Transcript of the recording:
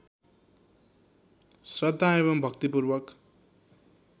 श्रद्धा एवं भक्तिपूर्वक